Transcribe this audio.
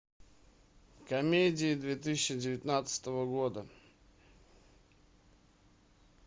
комедии две тысячи девятнадцатого года